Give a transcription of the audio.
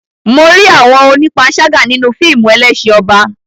Mo rí àwọn onípanṣágà nínú fíìmù Ẹlẹ́ṣin Ọba.